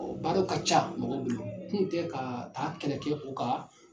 Ɔɔ baaraw ka ca mɔgɔ dolo kun kɛ ka taa kɛlɛ kɛ o kan